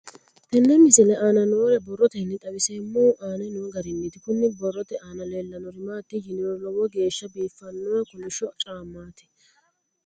Tenne misile aana noore borroteni xawiseemohu aane noo gariniiti. Kunni borrote aana leelanori maati yiniro Lowo geeshsha biifanno kollishsho caamati.